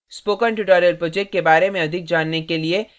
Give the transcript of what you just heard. spoken tutorial project के बारें में अधिक जानने के लिए